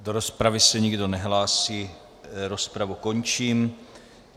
Do rozpravy se nikdo nehlásí, rozpravu končím.